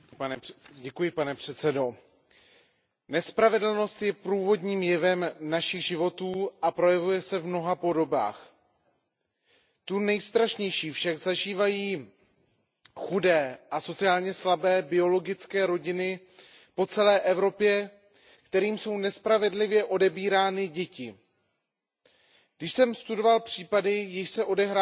Pane předsedající, nespravedlnost je průvodním jevem našich životů a projevuje se v mnoha podobách. Tu nejstrašnější však zažívají chudé a sociálně slabé biologické rodiny po celé Evropě, kterým jsou nespravedlivě odebírány děti. Když jsem studoval případy, jež se odehrávají např.